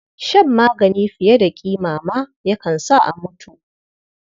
Shan magani fiye da ƙima ma yakan sa a mutu.